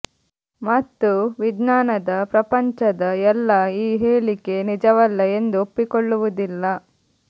ಮತ್ತು ವಿಜ್ಞಾನದ ಪ್ರಪಂಚದ ಎಲ್ಲಾ ಈ ಹೇಳಿಕೆ ನಿಜವಲ್ಲ ಎಂದು ಒಪ್ಪಿಕೊಳ್ಳುವುದಿಲ್ಲ